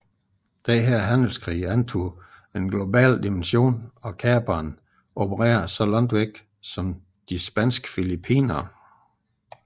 Denne handelskrig antog en global dimension og kaperne opererede så langt væk som de spanske Filippinerne